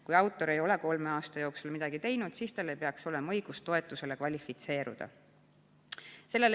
Kui autor ei ole kolme aasta jooksul midagi teinud, siis tal ei peaks olema õigust toetusele kvalifitseeruda.